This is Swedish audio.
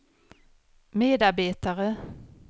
medarbetare